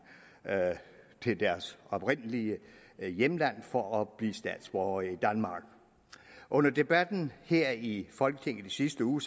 til deres oprindelige hjemland for at blive statsborgere i danmark under debatten her i folketinget i sidste uge